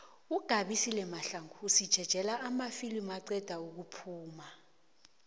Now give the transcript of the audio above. ugabisile mahlangu usitjejela amafilimu aqeda ukuphuma